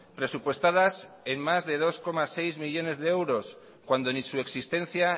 presupuestadas en más de dos coma seis millónes de euros cuando ni su existencia